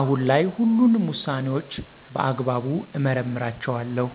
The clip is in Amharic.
አሁን ላይ ሁሉንም ውሳኔዎችን በአግባቡ እመረምራቸዋለሁ።